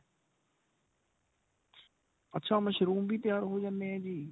ਅੱਛਾ ਮਸ਼ਰੂਮ ਵੀ ਤਿਆਰ ਹੋ ਜਾਂਦੀਆਂ ਜੀ.